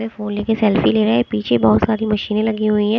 Phone ले के selfie ले रहे हें पीछे बहोत सारी मशीने लगी हुई हैं।